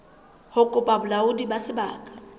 ho kopa bolaodi ba sebaka